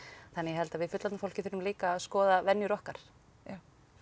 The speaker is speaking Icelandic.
þannig að ég held að við fullorðna fólkið þurfum líka að skoða venjur okkar já